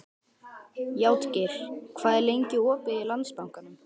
Játgeir, hvað er lengi opið í Landsbankanum?